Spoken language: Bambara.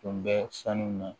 Tun bɛ sanu na